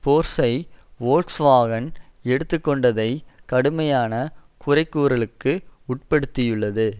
போர்ஷை Volkswagen எடுத்து கொண்டதை கடுமையான குறைகூறலுக்கு உட்படுத்தியுள்ளது